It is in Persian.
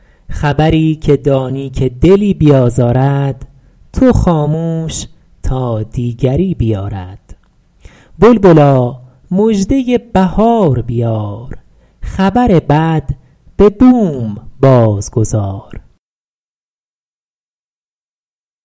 خبری که دانی که دلی بیازارد تو خاموش تا دیگری بیارد بلبلا مژده بهار بیار خبر بد به بوم باز گذار